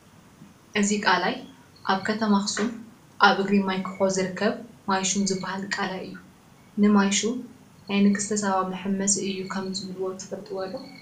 እዚ ቀላይ ኣብ ኣኽሱም ከተማ ኣብ እግሪ ማይ ኩሖ ዝርከብ ማይ ሹም ዝበሃል ቀላይ እዩ፡፡ ንማይ ሹም ናይ ንግስተ ሳባ መሓመሲ እዩ ከምዝብልዎ ትፈልጡ ዶ?